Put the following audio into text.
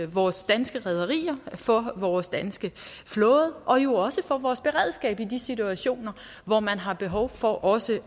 vores danske rederier for vores danske flåde og jo også for vores beredskab i de situationer hvor man har behov for også